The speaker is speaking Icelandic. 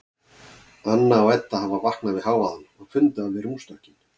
Anna og Edda hafa vaknað við hávaðann og funda við rúmstokkinn.